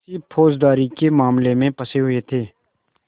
किसी फौजदारी के मामले में फँसे हुए थे